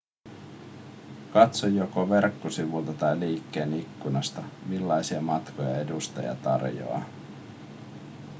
katso joko verkkosivulta tai liikkeen ikkunasta millaisia matkoja edustaja tarjoaa